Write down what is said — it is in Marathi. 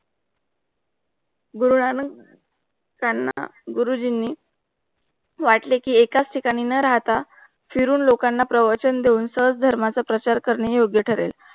गुरुनानक त्यांना गुरुजींनी वाटले कि एकाच ठेका निंना राहता. फिरून लेखांचा प्रवचन देहूचार धर्माचा प्रचार करणे युद्ध तारेल.